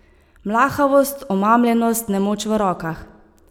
Mlahavost, omamljenost, nemoč v rokah.